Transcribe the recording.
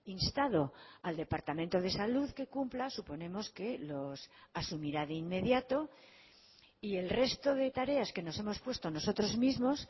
instado al departamento de salud que cumpla suponemos que los asumirá de inmediato y el resto de tareas que nos hemos puesto nosotros mismos